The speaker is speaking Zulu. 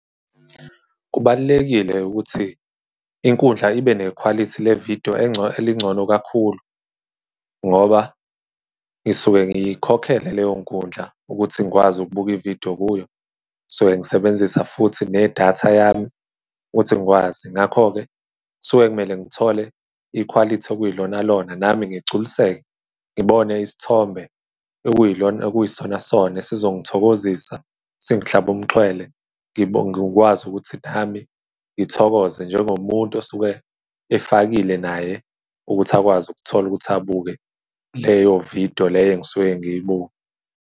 Kubalulekile ukuthi inkundla ibe nekhwalithi levidiyo elingcono kakhulu, ngoba ngisuke ngiyikhokhele leyo nkundla ukuthi ngikwazi ukubuka ividiyo kuyo. So ngisebenzisa futhi ne-data yami ukuthi ngikwazi. Ngakho-ke kusuke kumele ngithole ikhwalithi okuyilona-lona nami ngigculiseke, ngibone isithombe okuyisona-sona, esizongithokozisa, singihlabe umxhwele. Ngikwazi ukuthi nami ngithokoze njengomuntu osuke efakile naye ukuthi akwazi ukuthola ukuthi abuke leyo vidiyo, le engisuke ngiyibuke.